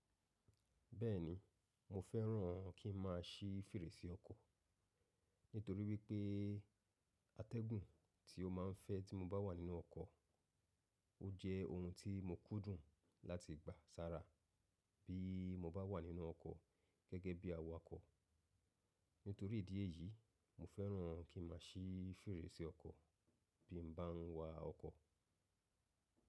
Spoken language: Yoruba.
Bẹ́ẹ̀ni, mo fẹ́ràn kí n má a sí fèrèsé ọkọ̀ nítorí wípé atẹ́gùn tí ó ma ń fẹ́ tí mo bá wà nínú ọkọ̀, ó jẹ́ ohun tí mo kúndùn láti gba sára bí mo bá wà nínú ọkọ̀ gẹ́gẹ́ bí awakọ̀. Nítorí ìdí èyí, mo fẹ́ràn kí n má a sí fèrèsé ọkọ̀ bí mo bá ń wa ọkọ̀.